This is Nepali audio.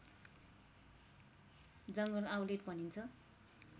जङ्गल आउलेट भनिन्छ